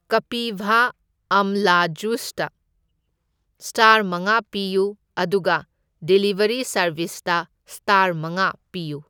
ꯀꯄꯤꯚꯥ ꯑꯝꯂꯥ just star ꯃꯉꯥ ꯄꯤꯌꯨ, ꯑꯗꯨꯒ ꯗꯤꯂꯤꯕꯔꯤ ꯁꯥꯔꯕꯤꯁꯇ ꯁꯇꯥꯔ ꯃꯉꯥ ꯄꯤꯌꯨ꯫